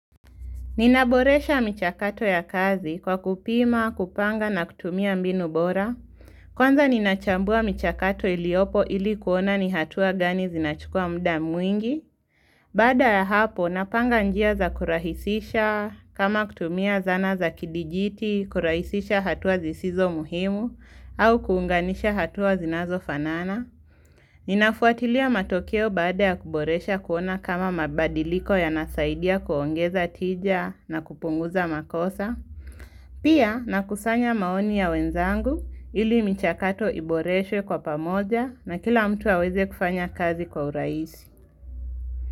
Ninaboresha michakato ya kazi kwa kupima, kupanga na kutumia mbinu bora. Kwanza ninachambua michakato iliopo ili kuona ni hatua gani zinachukua muda mwingi. Baada ya hapo napanga njia za kurahisisha kama kutumia zana za kidijiti, kurahisisha hatua zisizo muhimu, au kuunganisha hatua zinazo fanana. Ninafuatilia matokeo baada ya kuboresha kuona kama mabadiliko yanasaidia kuongeza tija na kupunguza makosa Pia nakusanya maoni ya wenzangu ili michakato iboreshwe kwa pamoja na kila mtu aweze kufanya kazi kwa urahisi.